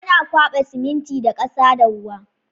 Ana kwaɓa siminti da ƙasa da ruwa